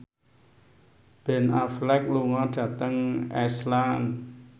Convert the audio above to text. Ben Affleck lunga dhateng Iceland